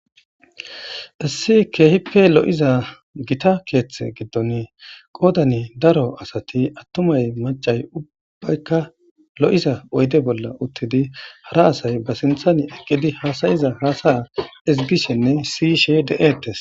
Assi keehipe lo'iza gita keeththe giddon qoodani daro asati attumay macay ubbaykka lo'iza oyde bolla uttidi hara asay ba sinthani eqqidi haasayiza haasaya izbishenne siyishe de'ettes.